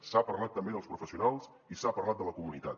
s’ha parlat també dels professionals i s’ha parlat de la comunitat